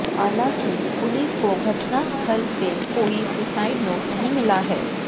हालांकि पुलिस को घटनास्थल से कोई सुसाइड नोट नहीं मिला है